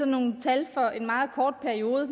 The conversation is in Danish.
nogle tal fra en meget kort periode og